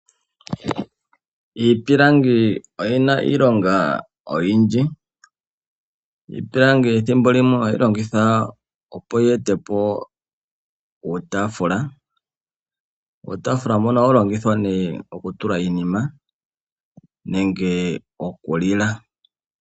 Iipilangi oyina iilonga oyindji. Iipilangi ethimbo limwe ohayi longithwa opo yi ete po uutaafula. Uutaafula mbono ohawu longithwa nee oku tula iinima nenge okulila.